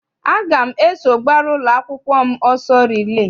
Aga m eso gbara ụlọakwụkwọ m ọsọ rilee.